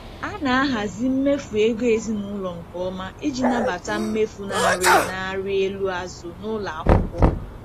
A na-ahazi mmefu ego ezinụlọ nke ọma iji nabata mmefu na-arị na-arị elu azụ n'ụlọ akwụkwọ.